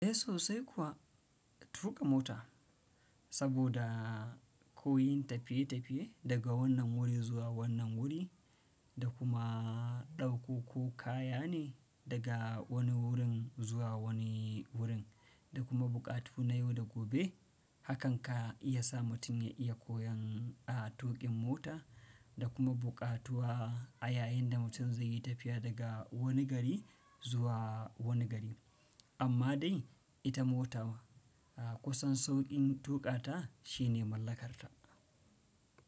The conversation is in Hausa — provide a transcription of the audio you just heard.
Eh sosai kuwa, tuƙa mota saboda koyon tafiye tafiye daga wannan wuri zuwa wannan wuri da kuma ɗauko ko kaya ne daga wani wurin zuwa wani wurin da kuma buƙatu na yau da gobe hakan ka iya sa mutum ya iya koyon a tuƙin mota da kuma buƙatuwa a yayin da mutum zai yi tafiya daga wani gari zuwa wani gari. Amma dai ita mota a kusan sauƙin tuƙa ta shine mallakarta.